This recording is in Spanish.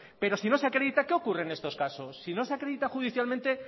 pero si no se acredita qué ocurre en estos casos si no se acredita judicialmente